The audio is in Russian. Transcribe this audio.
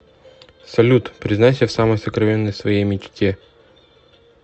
салют признайся в самой сокровенной своей мечте